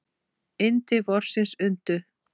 Yndi vorsins undu.